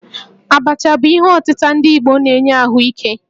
Abacha bụ ihe ọtịta ndi Igbo na-enye ahụ ike